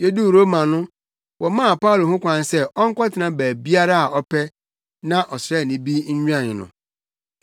Yeduu Roma no, wɔmaa Paulo ho kwan sɛ ɔnkɔtena baabiara a ɔpɛ na ɔsraani bi nwɛn no.